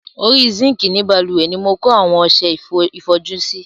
Orí sinkii ni bálùwẹ̀ ni mo kó àwọn ọsẹ ìfọjú sí.